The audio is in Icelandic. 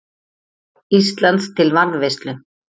Íslands til varðveislu.